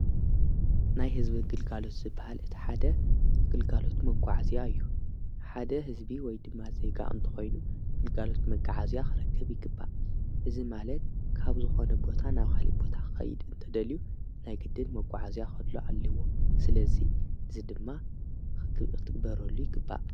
ናይ ሕዝቢ ግልጋሎት ዝይግባእ ሓደ ግልጋሎት መጕዓ እዚያ እዩ ሓደ ሕዝቢ ወይ ድማ ዘይጋ እእምተ ኾይኑ ግልጋሎት መገዓ እዚያ ኽረክብ ይግባእ እዝ ማለት ካብ ዝኾነ ቦታ ናብ ኻሊ ቦታ ኸይድ እንተደልዩ ናይ ግድን መጕዓ እዚያ ኸድሎ ኣልዎ ስለዙይ ድዝ ድማ ኽቢ ኽትግበረሉ ይግባእ።